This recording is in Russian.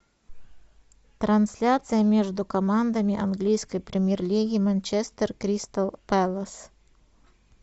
трансляция между командами английской премьер лиги манчестер кристал пэлас